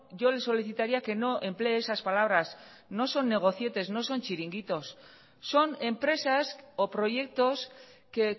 yo le solicitaría que no emplee esas palabras no son negocietes no son chiringuitos son empresas o proyectos que